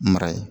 Mara ye